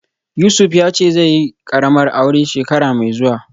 Yusuf yace zaiyi karamar aure shekara mai zuwa